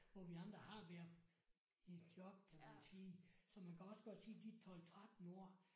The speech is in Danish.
Hvor vi andre har været i job kan man sige. Så man kan også godt sige de 12 13 år